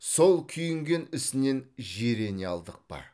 сол күйінген ісінен жирене алдық па